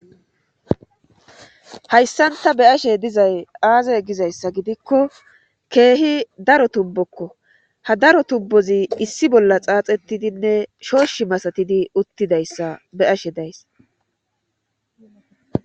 hayssan ta be' ashe dizay aaze gizayssa gidikko keehi daro tubbokko ha daro tubbozi issi bolla xaaxettidinne shooshi masatidi uttidayssa be ashe days